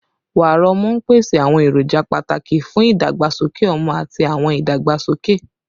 Wàrà ọmú n pese awọn eroja pataki fun idagbasoke ọmọ ati awọn idagbasoke